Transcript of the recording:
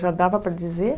Já dava para dizer?